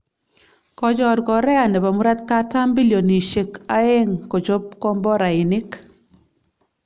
Kochor Korea nebo murotkatam bilionisyek aeng kochob komborainik